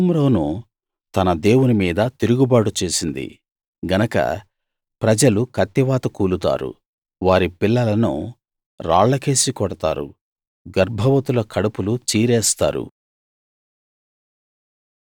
షోమ్రోను తన దేవుని మీద తిరుగుబాటు చేసింది గనక ప్రజలు కత్తివాత కూలుతారు వారి పిల్లలను రాళ్లకేసి కొడతారు గర్భవతుల కడుపులు చీరేస్తారు